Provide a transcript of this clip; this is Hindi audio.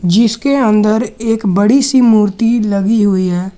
जिसके अंदर एक बड़ी सी मूर्ति लगी हुई है।